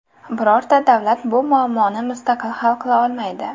Birorta davlat bu muammoni mustaqil hal qila olmaydi.